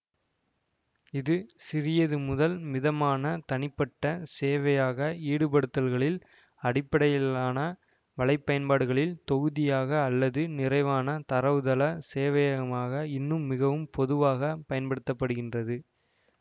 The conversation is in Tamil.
இது சிறியது முதல் மிதமான தனிப்பட்ட சேவையாக ஈடுபடுத்தல்களில் அடிப்படையிலான வலைப்பயன்பாடுகளில் தொகுதியாக அல்லது நிறைவான தரவுத்தள சேவையகமாக இன்னும் மிகவும் பொதுவாக பயன்படுத்த படுகின்றது